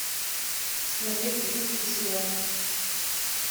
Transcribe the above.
смотреть русский сериал